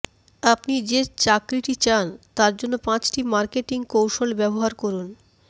আপনি যে চাকরিটি চান তার জন্য পাঁচটি মার্কেটিং কৌশল ব্যবহার করুন